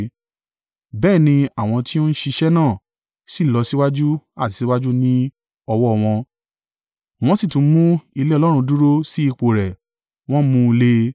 Bẹ́ẹ̀ ni àwọn tí ó ń ṣiṣẹ́ náà, sì lọ síwájú àti síwájú ní ọwọ́ wọn, wọ́n sì tún mú ilé Ọlọ́run dúró sí ipò rẹ̀, wọ́n mú un le.